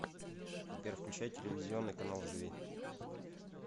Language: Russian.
сбер включай телевизионный канал живи